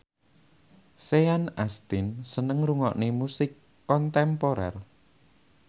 Sean Astin seneng ngrungokne musik kontemporer